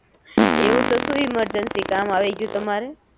Okay એવું તે સુ ઇમરજન્સી કામ આવી ગયું તમારે?